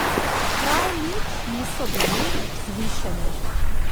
Prav nič niso bili vzvišeni.